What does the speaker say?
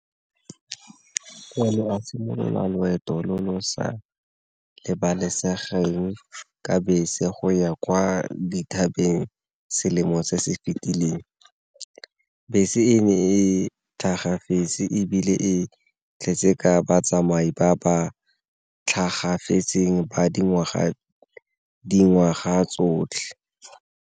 a simolola loeto lo lo sa lebalesegeng ka bese go ya kwa dithabeng selemo se se fitileng, bese e ne e tlhagafetse ebile e tletse ka batsamai ba ba tlhagafetseng teng ba dingwaga tsotlhe.